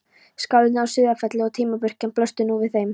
Skálarnir á Sauðafelli og timburkirkjan blöstu nú við þeim.